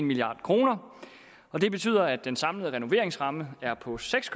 milliard kr og det betyder at den samlede renoveringsramme er på seks